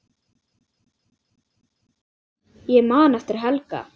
Ég man eftir Helga.